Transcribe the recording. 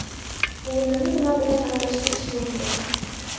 O‘rnini nima bilan almashtirish mumkin?